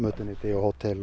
hótel